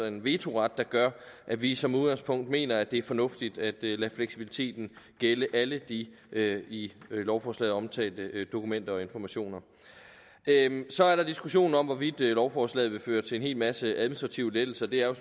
en vetoret det gør at vi som udgangspunkt mener at det er fornuftigt at lade fleksibiliteten gælde alle de i lovforslaget omtalte dokumenter og informationer så er der diskussionen om hvorvidt lovforslaget vil føre til en hel masse administrative lettelser det er jo